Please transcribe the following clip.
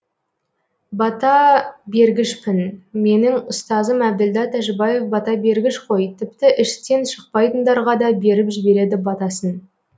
бата бергішпін менің ұстазым әбділда тәжібаев бата бергіш қой тіпті іштен шықпайтындарға да беріп жібереді батасын